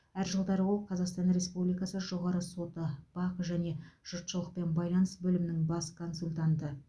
әр жылдары ол қазақстан республикасы жоғарғы соты бақ және жұртшылықпен байланыс бөлімінің бас консультанты